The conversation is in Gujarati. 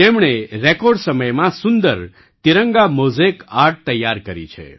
તેમણે રેકૉર્ડ સમયમાં સુંદર તિરંગા મૉઝેક આર્ટ તૈયાર કરી છે